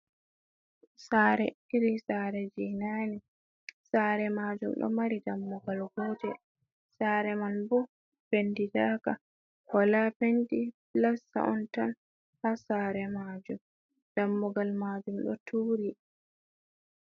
Sɗare, iri saare jey naane, saare maajum ɗo mari dammugal gootel, saare man bo pentidaaka, wala penti pilasta on tan, haa saare maajum, dammugal maajum ɗo tuuri.